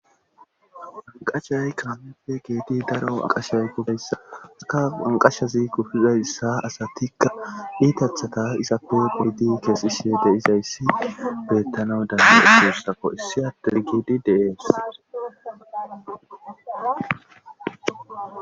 aqashay kaafeppe geedi daro aqashay gubeyssaka anqashazi kufizayssa asatikka iitathata izappe peydi keesisie de izayssi beettanau dan idossako issi attun giedi deees